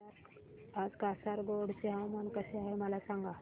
आज कासारगोड चे हवामान कसे आहे मला सांगा